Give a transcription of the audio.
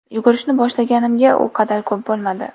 Yugurishni boshlaganimga u qadar ko‘p bo‘lmadi.